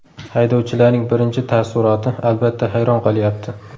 Haydovchilarning birinchi taassuroti, albatta, hayron qolyapti.